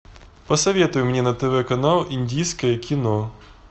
посоветуй мне на тв канал индийское кино